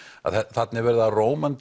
þarna er verið að